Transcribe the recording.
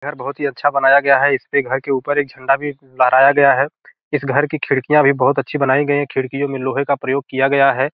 घर बहुत ही अच्छा बनाया गया है इसपे घर के ऊपर एक झंडा भी लहराया गया है इस घर की खिड़कियाँ भी बहुत अच्छी बनाई गई है खिड़कियों में लोहे का प्रयोग किया गया है।